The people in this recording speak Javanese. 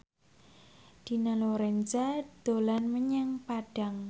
Dina Lorenza dolan menyang Padang